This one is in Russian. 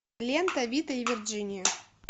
лента вита и вирджиния